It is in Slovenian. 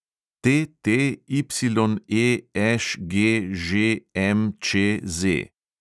TTYEŠGŽMČZ